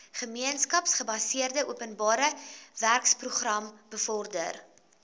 gemeenskapsgebaseerde openbarewerkeprogram bevorder